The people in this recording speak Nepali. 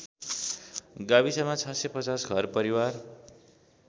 गाविसमा ६५० घरपरिवार